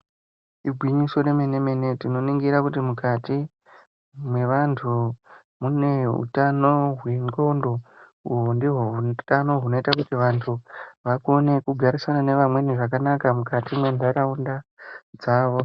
Igwinyiso remene-mene tinoningira kuti mukati mwevantu mune utano hwendxondo uhu ndihwo hutano hunoita kuti vantu vakone kugara nevamweni zvakanaka muntaraunda dzavo.